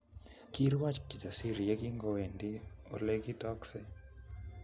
Kiirwoch Kijasiri yekingowendi olekitokse